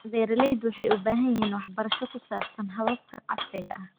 Beeraleydu waxay u baahan yihiin waxbarasho ku saabsan hababka casriga ah.